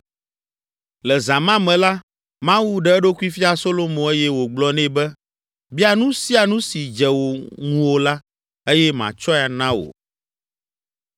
Le zã ma me la, Mawu ɖe eɖokui fia Solomo eye wògblɔ nɛ be, “Bia nu sia nu si dze ŋuwò la eye matsɔe ana wò!”